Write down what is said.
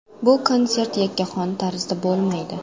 Bu konsert yakkaxon tarzda bo‘lmaydi.